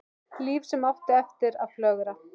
Líf sem átti eftir að flögra.